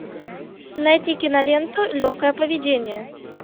найти киноленту легкое поведение